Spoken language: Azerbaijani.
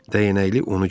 Dəyənəkli onu gördü.